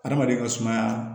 Adamaden ka sumaya